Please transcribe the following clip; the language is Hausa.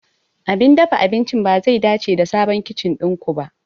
Abin dafa abincin bazai dace da sabon kicin ɗin ku ba.